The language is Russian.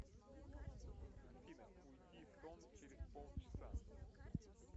афина уйди в сон через полчаса